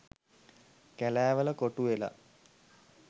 කැලෑවල කොටු වෙලා.